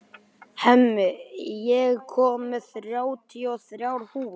Hemmi, ég kom með þrjátíu og þrjár húfur!